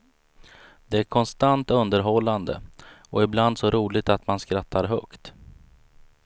Det är konstant underhållande och ibland så roligt att man skrattar högt.